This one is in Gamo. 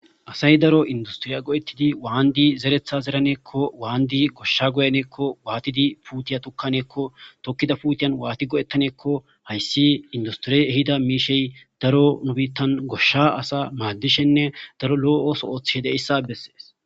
asay daro industriya go7ettidi waandi zeretha zeraneekko waandi goshsha goyanekko waatidi puutiya tukkaneekko tokkida puutiyan waati go7ettaneekko hayssi industriye ehida miishey daro nubiittan goshsha asa maaddishenne daro loo7ooso ooththede hissa bessees